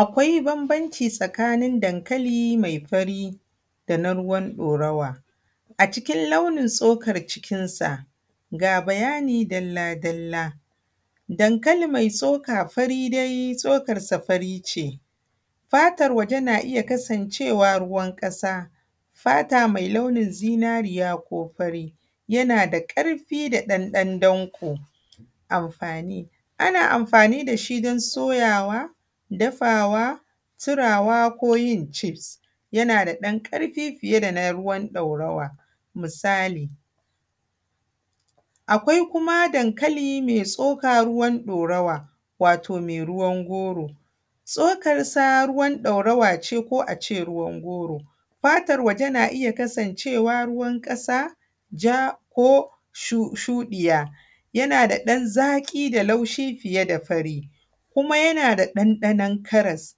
Akwai bambancin tsakanin dankali mai fari da na ruwan ɗaurawa a cikin launin tsokar cikinsa. Ga bayani dalla dalla. Dankali mai tsoka fari dai tsokarsa fari ce, fatan waje na iya kasancewa ruwan ƙasa, fata mai launin zinariya ko fari, yana da ƙarfi da ɗan danƙo. Amfani. Ana amfani da shi don soyawa, dafawa, turawa, ko yin cifs. Yana da ɗan ƙarfi fiye da na ruwan ɗaurawa. Misali akwai kuma dankali mai tsoka ruwan ɗorawa wato mai ruwan goro. Tsokarsa ruwan ɗaurawa ce, ko a ce ruwan goro. Fatar waje na iya kasancewa ruwan ƙasa, ja, ko shuɗiya. Yana da ɗan zaƙi da laushi fiye da fari. Kuma yana da ɗanɗanon karas.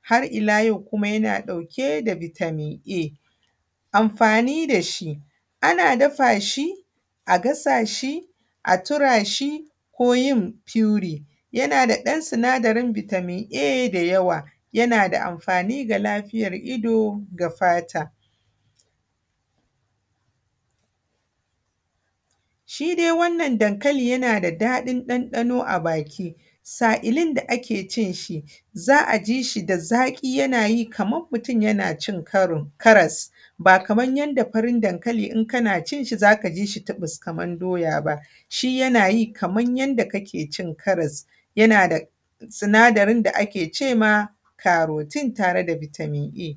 Har ila yau kuma yana ɗauke da vitamin a. Amfani da shi. Ana dafa shi, a gasa shi, a tura shi, ko yin puree. Yana da ɗan sinadarin vitamin a da yawa, yana da amfani ga lafiyar ido, ga fata. Shi dai wannan dankali yana da daɗin ɗanɗano a baki sa’ilin da ake cin shi, za a ji shi da zaƙi yana yi kaman mutum yana cin karas ba kaman yanda farin dankali in kana cin shi zaka ji shi tuɓus kaman doya ba. Shi yana yi kaman yanda ka ke cin karas. Yana da sinadarin da ake ce ma carotein tare da vitamin a.